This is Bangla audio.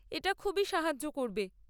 এটা খুবই সাহায্য করবে।